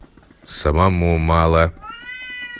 самому мало